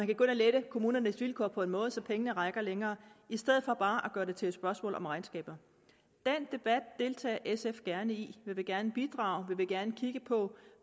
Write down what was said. kan gå ind og lette kommunernes vilkår på en måde så pengene rækker længere i stedet for bare at gøre det til et spørgsmål om regnskaber den debat deltager sf gerne i vi vil gerne bidrage vi vil gerne kigge på